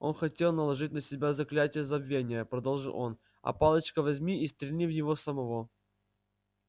он хотел наложить на нас заклятие забвения продолжил рон а палочка возьми и стрельни в него самого